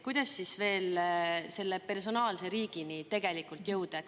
Kuidas siis veel selle personaalse riigini jõuda?